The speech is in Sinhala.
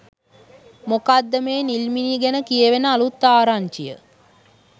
මොකක්ද මේ නිල්මිණි ගැන කියැවෙන අලුත් ආරංචිය?